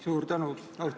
Suur tänu!